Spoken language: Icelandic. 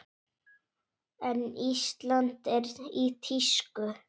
En Ísland er í tísku.